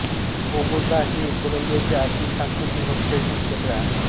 Bogota हे कोलंबियाचे आर्थिक सांस्कृतिक व शैक्षणिक केंद्र आहे